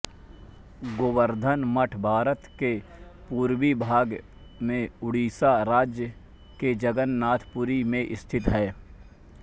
गोवर्धन मठ भारत के पूर्वी भाग में उड़ीसा राज्य के जगन्नाथ पुरी में स्थित है